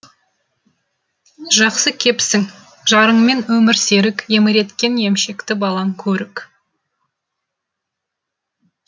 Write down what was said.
жақсы кепсің жарыңмен өмір серік еміренткен емшекті балаң көрік